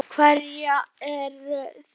Hverjar eru þær þá?